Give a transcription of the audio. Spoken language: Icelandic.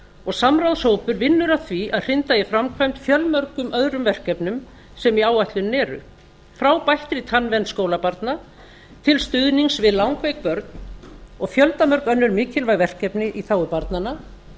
og samráðshópur vinnur að því að hrinda í framkvæmd fjölmörgum öðrum verkefnum sem í áætluninni eru frá bættri tannvernd skólabarna til stuðnings við langveik börn og fjöldamörg önnur mikilvæg verkefni í þágu barnanna